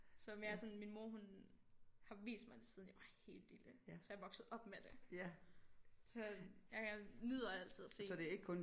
Så mere sådan min mor hun har vist mig det siden jeg var helt lille så jeg voksede op med det så jeg nyder altid at se dem